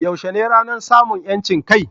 Yaushe ne ranar samun 'yancin kai?